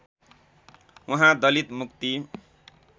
उहाँ दलित मुक्ति